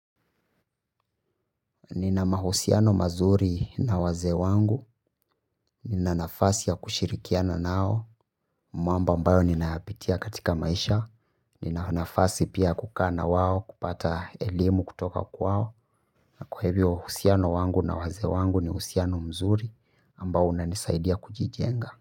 Nina mahusiano mazuri na wazee wangu. Nina nafasi ya kushirikiana nao. Mwamba ambayo ninayapitia katika maisha. Nina nafasi pia kukaa na wao kupata elimu kutoka kwao. Na kwa hivyo uhusiano wangu na waze wangu ni uhusiano mzuri ambao unanisaidia kujijenga.